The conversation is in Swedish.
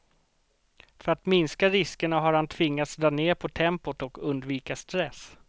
För att minska riskerna har han tvingats dra ned på tempot och undvika stress.